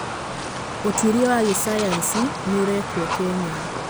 Ũtuĩria wa gĩsayansi nĩ ũrekwo Kenya.